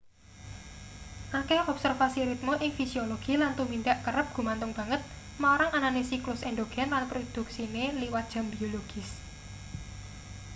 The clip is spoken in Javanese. akeh observasi ritme ing fisiologi lan tumindak kerep gumantung banget marang anane siklus endogen lan produksine liwat jam biologis